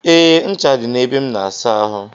E, ncha dị na ebe m na-asa ahụ.